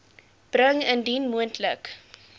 bring indien moontlik